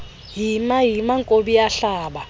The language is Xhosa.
yima yima nkobiyahlaba